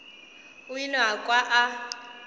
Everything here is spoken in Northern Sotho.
o ile a kwa a